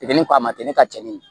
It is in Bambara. Tigɛli kɔ a ma kɛ ne ka cɛnni ye